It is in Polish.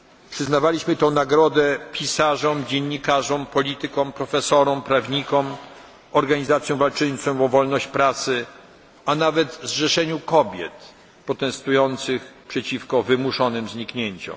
Przyznawaliśmy tę nagrodę pisarzom, dziennikarzom, politykom, profesorom, prawnikom, organizacjom walczącym o wolność pracy, a nawet zrzeszeniu kobiet protestujących przeciwko wymuszonym zniknięciom.